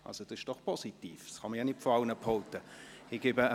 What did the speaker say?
Das ist doch positiv, das kann man nicht von allen behaupten!